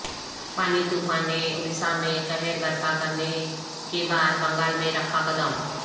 فانی طوفان نے اڈیشہ میں قہر برپا کرنے کے بعد بنگال میں رکھا قدم